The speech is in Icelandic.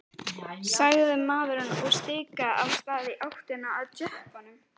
sagði maðurinn og stikaði af stað í áttina að jeppanum.